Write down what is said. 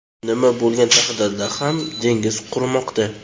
Nima bo‘lgan taqdirda ham dengiz qurimoqda.